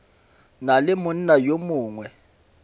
na le monna yo mongwe